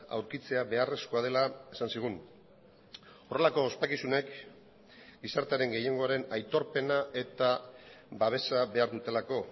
aurkitzea beharrezkoa dela esan zigun horrelako ospakizunek gizartearen gehiengoaren aitorpena eta babesa behar dutelako